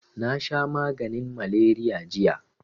Nasha maganin maleriya jiya